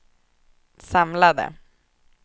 samlade